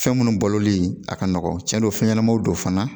Fɛn munnu baloli a ka nɔgɔn cɛn don fɛn ɲɛnamaw don fana